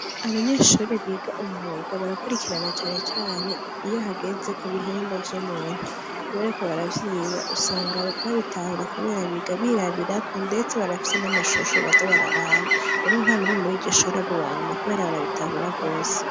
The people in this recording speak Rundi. Abanyeshure biga umwuga barakurikirana cane cane iyo hageze kubihimba vy’umuntu, bariko baravyiga usanga babitahura kubera biga birabirako ndetse barafise n’amashusho baza bararaba, rero ntanumwe muriryoshure aba uwanyuma kubera barabitahura gose.